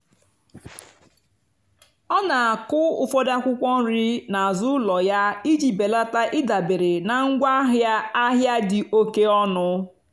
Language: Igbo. ọ́ nà-àkụ́ ụ́fọ̀dụ́ ákwụ́kwọ́ nrì n'àzụ́ ụ́lọ̀ yá ìjì bèlátá ị́dàbérè nà ngwáàhịá àhịá dì óké ónú.